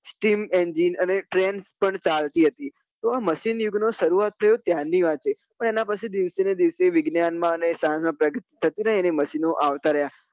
steam engine પણ ચાલતી હતી તો machine યુગ નો સરુઆત થયો ત્યાર ની વાત છે પણ એના પચોઈ દિવસે ને દિવસે વિજ્ઞાન માં અને પ્રયોગ ઓ માં નાં machine આવતા રહ્યા.